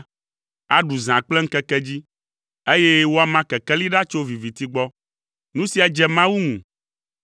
aɖu zã kple ŋkeke dzi, eye woama kekeli ɖa tso viviti gbɔ. Nu sia dze Mawu ŋu.